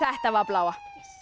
þetta var bláa